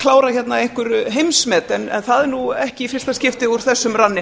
klára hérna einhver heimsmet það er ekki í fyrsta skipti úr þessum ranni